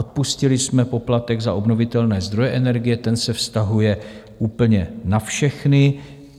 Odpustili jsme poplatek za obnovitelné zdroje energie, ten se vztahuje úplně na všechny.